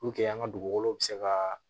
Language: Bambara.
Puruke an ka dugukolow bɛ se ka